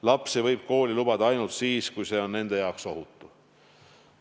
Lapsi võib kooli lubada ainult siis, kui see on nende jaoks ohutu.